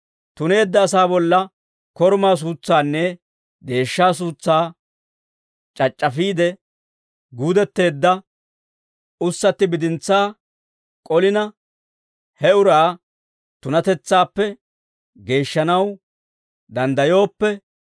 Tuneedda asaa bolla korumaa suutsaanne deeshshaa suutsaa c'ac'c'afiide, guudetteedda ussatti bidintsaa k'olina, he uraa tunatetsaappe geeshshanaw danddayooppe,